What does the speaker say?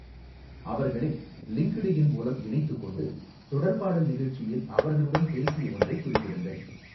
அவர்களை லிங்க்டுஇன் மூலம் இணைத்துக் கொண்டு, தொடர்பாடல் நிகழ்ச்சியில் அவர்களுடன் பேசிய ஒன்றைக் குறிப்பிடுங்கள்.